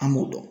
An b'o dɔn